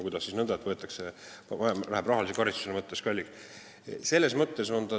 Kuidas siis nõnda, et rahalise karistuse mõttes läheb see mulle kalliks?